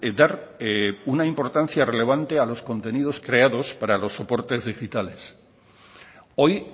dar una importancia relevante a los contenidos creados para los soportes digitales hoy